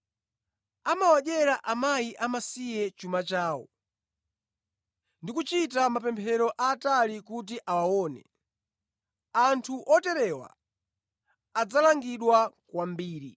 Amawadyera akazi amasiye chuma chawo ndi kuchita mapemphero aatali kuti awaone. Anthu oterewa adzalangidwa kwambiri.”